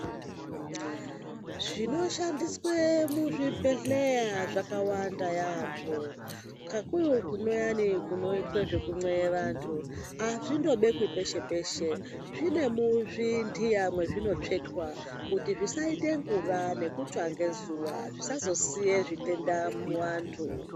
Zvinoshandiswe muzvibhedhleya zvakawanda yaambho kakurutu kuyani kunoita zvekunceyiwe vanthu azvindobekwi peshe peshe zvine muzvinthiya mezvinotsvetwa kuti zvisaite ngura nekutsva ngezuwa zvisazosiye zvitenda muvanthu.